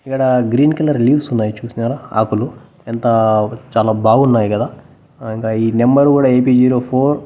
ఇక్కడ green colour leaves ఉన్నాయ్ చూసినారా ఆకులు ఎంత చాలా బాగున్నాయి కదా ఇంక ఈ నెంబర్ కూడా ఏపీ జీరో ఫోర్ --